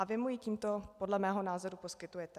A vy mu ji tímto podle mého názoru poskytujete.